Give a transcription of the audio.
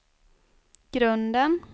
grunden